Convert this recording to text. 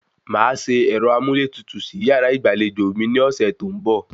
Màá se ẹ̀rọ amúlétutù sí yàrá ìgbàlejò mi ní ọ̀sẹ̀ tó ń bọ̀